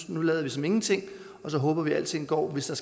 nu lader vi som ingenting og så håber vi at alting går hvis